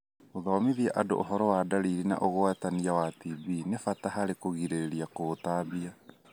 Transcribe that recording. Gũthomithia andũ ũhoro wa ndariri na ũgwatania wa TB nĩ bata harĩ kũgirĩrĩria kũutambia.